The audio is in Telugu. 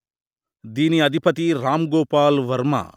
దీని అధిపతి రామ్ గోపాల్ వర్మ